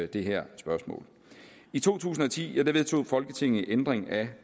det her spørgsmål i to tusind og ti vedtog folketinget en ændring af